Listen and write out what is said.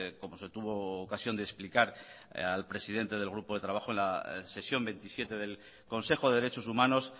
como se tuvo ocasión de explicar al presidente del grupo de trabajo en la sesión veintisiete del consejo de derechos humanos